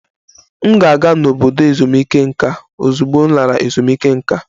M ga-aga n'obodo ezumike nká ozugbo m lara ezumike nká